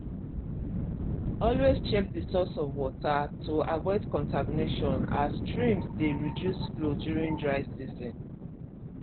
always check the source of water to avoid contamination as streams dey reduce flow during dry season